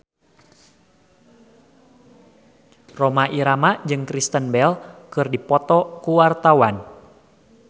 Rhoma Irama jeung Kristen Bell keur dipoto ku wartawan